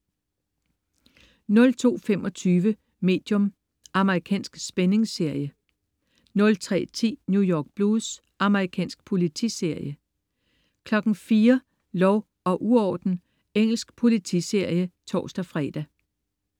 02.25 Medium. Amerikansk spændingsserie 03.10 New York Blues. Amerikansk politiserie 04.00 Lov og uorden. Engelsk politiserie (tors-fre)